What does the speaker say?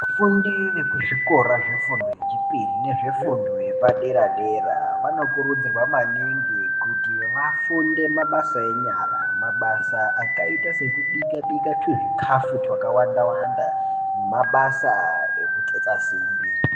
Vafundi vekuzvikora zvefundo yechipiri nezvefundo yepadera dera vanokurudzirwa maningi kuti vafunde mabasa enyara mabasa akaita sekubika bika tuzvikafu twakawanda wanda nemabasa ekutsetsa simbi.